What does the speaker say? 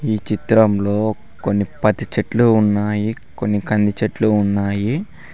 ఈ చిత్రంలో కొన్ని పది చెట్లు ఉన్నాయి కొన్ని కంది చెట్లు ఉన్నాయి.